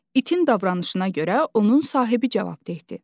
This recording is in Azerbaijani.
İtin davranışına görə onun sahibi cavabdehdir.